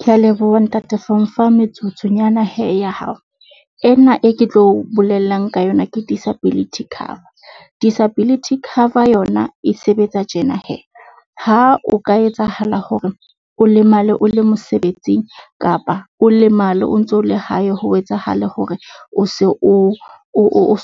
Kea leboha ntate for ho nfa metsotsonyana hee ya hao. Ena e ke tlo bolelang ka yona ke disability cover. Disability cover yona e sebetsa tjena hee, ha o ka etsahala hore o lemale o le mosebetsing kapa o lemale o ntso le hae. Ho etsahale hore o se